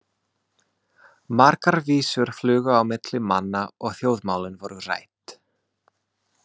Margar vísur flugu á milli manna og þjóðmálin voru rædd.